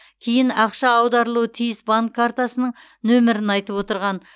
кейін ақша аударылуы тиіс банк картасының нөмірін айтып отырған